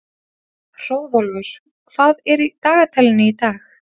Hróðólfur, hvað er í dagatalinu í dag?